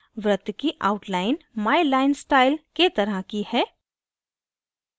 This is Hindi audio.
वृत्त की outline my line style के तरह की है